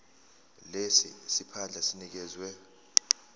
lesi siphandla sinikezwa